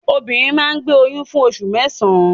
Obìnrin máa ń gbé oyún fún oṣù mẹ́sàn-án.